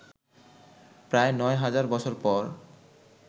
প্রায় নয় হাজার বছর পর